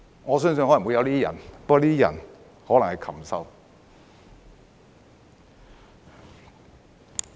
我相信可能有這樣的人，不過這些人可能是禽獸。